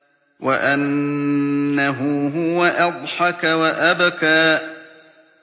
وَأَنَّهُ هُوَ أَضْحَكَ وَأَبْكَىٰ